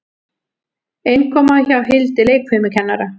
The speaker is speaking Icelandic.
Innkoma hjá Hildi leikfimikennara.